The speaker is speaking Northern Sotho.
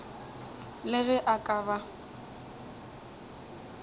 le ge a ka ba